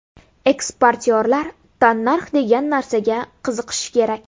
Eksportyorlar tannarx degan narsaga qiziqishi kerak.